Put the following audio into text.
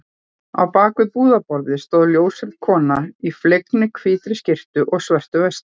Á bak við búðarborðið stóð ljóshærð kona í fleginni hvítri skyrtu og svörtu vesti.